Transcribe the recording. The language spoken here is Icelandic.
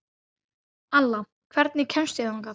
Alla, hvernig kemst ég þangað?